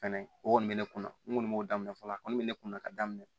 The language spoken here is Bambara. Fɛnɛ o kɔni bɛ ne kun na n kɔni b'o daminɛ fɔlɔ a kɔni be ne kun na ka daminɛ